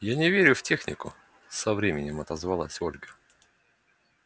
я не верю в технику со временем отозвалась ольга